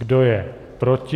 Kdo je proti?